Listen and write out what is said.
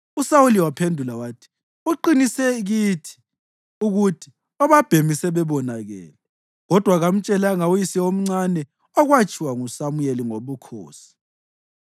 USawuli waphendula wathi, “Uqinise kithi ukuthi obabhemi sebebonakele.” Kodwa kamtshelanga uyise omncane okwakutshiwo nguSamuyeli ngobukhosi.